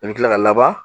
I bɛ tila ka laban